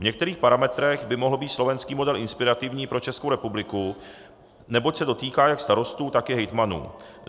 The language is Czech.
V některých parametrech by mohl být slovenský model inspirativní pro Českou republiku, neboť se dotýká jak starostů, tak i hejtmanů.